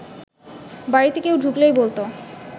বাড়িতে কেউ ঢুকলেই বলত